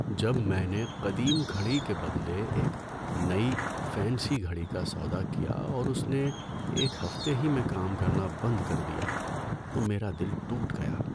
جب میں نے قدیم گھڑی کے بدلے ایک نئی فینسی گھڑی کا سودا کیا اور اس نے ایک ہفتے ہی میں کام کرنا بند کر دیا تو میرا دل ٹوٹ گیا۔